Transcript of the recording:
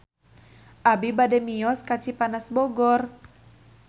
Abi bade mios ka Cipanas Bogor